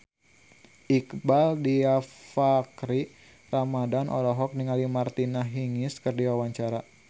Iqbaal Dhiafakhri Ramadhan olohok ningali Martina Hingis keur diwawancara